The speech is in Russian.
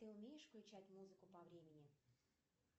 ты умеешь включать музыку по времени